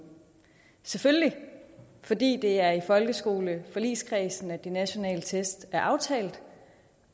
selvfølgelig fordi det er i folkeskoleforligskredsen at de nationale test er aftalt